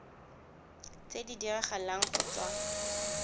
tse di diragalang go tswa